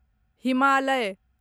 Himalaya